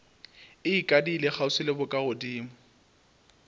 e ikadile kgauswi le bokagodimo